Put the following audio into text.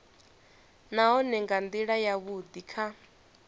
nahone nga ndila yavhudi kha